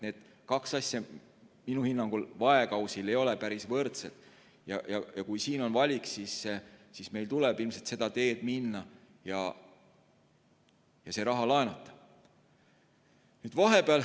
Need kaks asja minu hinnangul vaekausil ei ole päris võrdsed ja kui on valik, siis meil tuleb ilmselt minna seda teed, et see raha laenata.